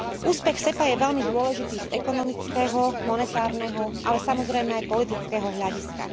Úspech SEPA je veľmi dôležitý z ekonomického, monetárneho, ale samozrejme aj politického hľadiska.